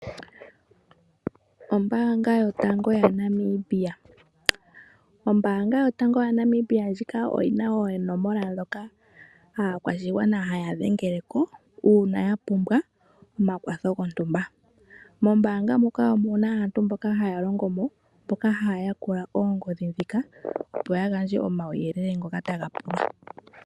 Ombaanga yotango yaNamibia, ombaanga yotango yaNamibia ndjika oyi na oonomola ndhoka aakwashigwana haya dhengele ko uuna ya pumbwa omakwatho gontumba. Mombaanga muka omuna aantu mboka haya longo mo mboka haya yakula oongodhi ndhika opo ya gandje omauyelele ngoka taga pulwa.